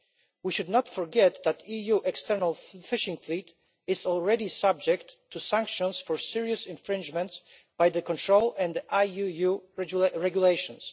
We should not forget that the EU external fishing fleet is already subject to sanctions for serious infringements by the Control and IUU regulations.